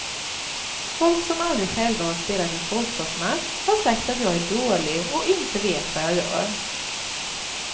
Folk som aldrig själva har spelat en fotbollsmatch har sagt att jag är dålig och inte vet vad jag gör.